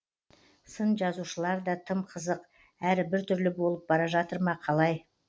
сын жазушылар да тым қызық әрі біртүрлі болып бара жатыр ма қалай